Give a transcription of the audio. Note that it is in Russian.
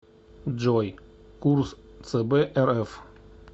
джой курс цб рф